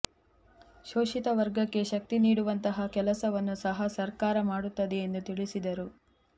ಶೋಷಿತ ವರ್ಗಕ್ಕೆ ಶಕ್ತಿ ನೀಡುವಂತಹ ಕೆಲಸವನ್ನು ಸಹ ಸರಕಾರ ಮಾಡುತ್ತದೆ ಎಂದು ತಿಳಿಸಿದರು